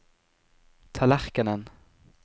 tallerkenen